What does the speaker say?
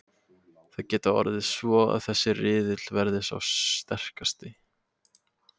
Það gæti orðið svo að þessi riðill verði sá sterkasti.